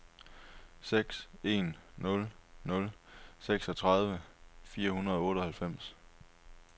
seks en nul nul seksogtredive fire hundrede og otteoghalvfems